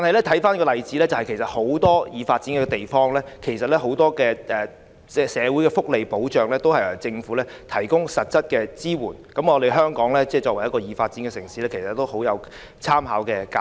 綜觀這些例子，其實很多已發展地區的社會福利保障均由政府提供實質支援，對於作為已發展城市的香港，極具參考價值。